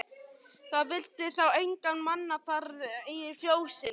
Það vildi þá enga mannaferð í fjósinu.